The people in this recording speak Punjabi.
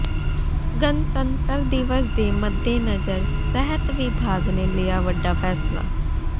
ਗਣਤੰਤਰ ਦਿਵਸ ਦੇ ਮੱਦੇਨਜ਼ਰ ਸਿਹਤ ਵਿਭਾਗ ਨੇ ਲਿਆ ਵੱਡਾ ਫੈਸਲਾ